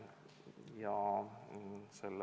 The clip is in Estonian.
Lugupeetud ettekandja, teile küsimusi ka ei ole.